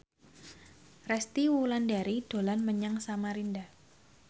Resty Wulandari dolan menyang Samarinda